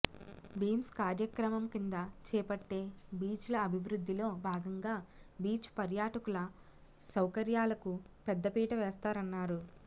beams కార్యక్రమం కింద చేపట్టే బీచ్ల అభివృద్ధిలో భాగంగా బీచ్ పర్యాటకుల సౌకర్యాలకు పెద్ద పీట వేస్తారన్నారు